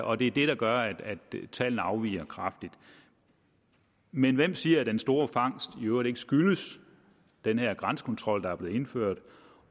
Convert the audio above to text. og det er det der gør at tallene afviger kraftigt men hvem siger at den store fangst i øvrigt ikke skyldes den her grænsekontrol der er blevet indført